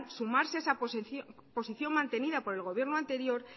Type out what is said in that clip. sumarse a esa posición mantenida por el gobierno anterior